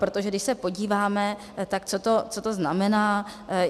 Protože když se podíváme, tak co to znamená.